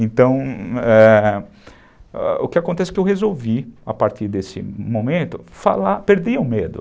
Então, ãh, o que acontece é que eu resolvi, a partir desse momento, falar... Perder o medo.